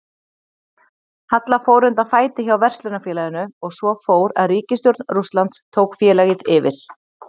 Halla fór undan fæti hjá verslunarfélaginu og svo fór að ríkisstjórn Rússlands tók félagið yfir.